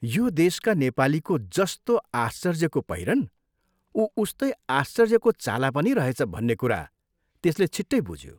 यो देशका नेपालीको जस्तो आश्चर्यको पहिरन उ उस्तै आश्चर्यको चाला पनि रहेछ भन्ने कुरा त्यसले छिट्टै बुझ्यो।